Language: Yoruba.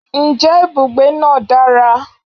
je ibugbe naa dara?